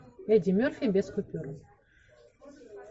эдди мерфи без купюр